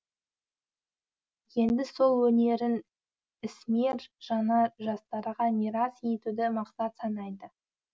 енді сол өнерін ісмер жана жастарға мирас етуді мақсат санайды